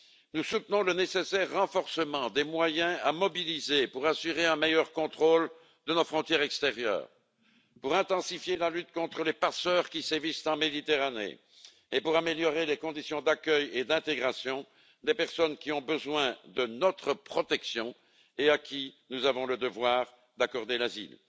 Nous soutenons le nécessaire renforcement des moyens à mobiliser pour assurer un meilleur contrôle de nos frontières extérieures, pour intensifier la lutte contre les passeurs qui sévissent en Méditerranée, ainsi que pour améliorer les conditions d'accueil et d'intégration des personnes qui ont besoin de notre protection et à qui nous avons le devoir d'accorder l'asile.